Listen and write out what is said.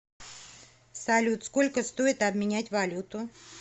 салют сколько стоит обменять валюту